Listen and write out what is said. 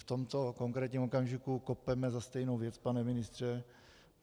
V tomto konkrétním okamžiku kopeme za stejnou věc, pane ministře.